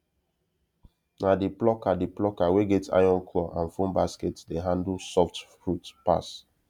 na the plucker the plucker wey get iron claw and foam basket dey handle soft fruit pass